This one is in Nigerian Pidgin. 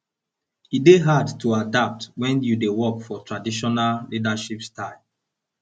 e dey hard to adapt wen you dey work for traditional leadership style